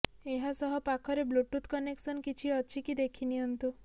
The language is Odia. ଏହାସହ ପାଖରେ ବ୍ଲୁଟୁଥ୍ କନେକ୍ସନ କିଛି ଅଛି କି ଦେଖିନିଅନ୍ତୁ